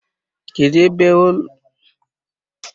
Kedụ ebe ụlọ chọọchị ụnụ dị?